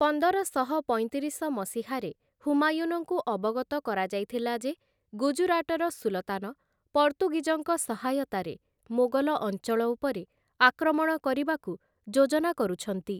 ପନ୍ଦରଶହ ପଇଁତିରିଶ ମସିହାରେ ହୁମାୟୁନଙ୍କୁ ଅବଗତ କରାଯାଇଥିଲା ଯେ, ଗୁଜରାଟର ସୁଲତାନ, ପର୍ତ୍ତୁଗୀଜଙ୍କ ସହାୟତାରେ ମୋଗଲ ଅଞ୍ଚଳ ଉପରେ ଆକ୍ରମଣ କରିବାକୁ ଯୋଜନା କରୁଛନ୍ତି ।